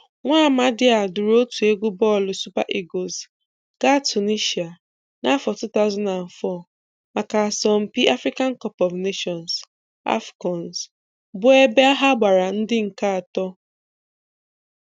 Nwamadị a duuru otu egwu bọọlụ Super Eagles gaa Tunishịa n'afọ 2004, maka asọmpi Africa Cup of Nations (AFCON) bụ ebe ha gbara ndị nke atọ.